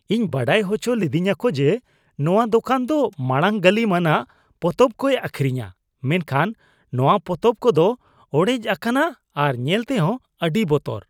ᱤᱧ ᱵᱟᱲᱟᱭ ᱦᱚᱪᱚ ᱞᱤᱫᱤᱧᱟᱠᱚ ᱡᱮ ᱱᱚᱣᱟ ᱫᱚᱠᱟᱱ ᱫᱚ ᱢᱟᱲᱟᱝ ᱜᱟᱹᱞᱤᱢᱟᱱᱟᱜ ᱯᱚᱛᱚᱵ ᱠᱚᱭ ᱟᱹᱠᱷᱨᱤᱧᱼᱟ, ᱢᱮᱱᱠᱷᱟᱱ ᱱᱚᱣᱟ ᱯᱚᱛᱚᱵ ᱠᱚᱫᱚ ᱚᱲᱮᱡ ᱟᱠᱟᱱᱟ ᱟᱨ ᱧᱮᱞ ᱛᱮᱦᱚ ᱟᱹᱰᱤ ᱵᱚᱛᱚᱨ ᱾